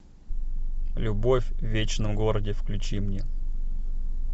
любовь в вечном городе включи мне